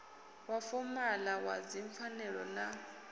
wa fomala wa dzipfanelo na